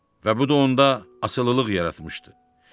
Və bu da onda asılılıq yaratmışdı.